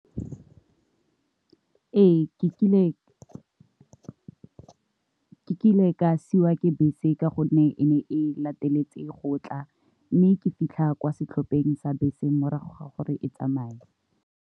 Ee, ke kile ke ile ka siwa ke bese ka gonne e ne e le lateletse go tla mme ke fitlha kwa setlhopheng sa bese morago ga gore e tsamaye.